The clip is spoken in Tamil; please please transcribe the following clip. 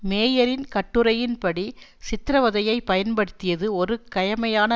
மேயரின் கட்டுரையின்படி சித்திரவதையை பயன்படுத்தியது ஒரு கயமையான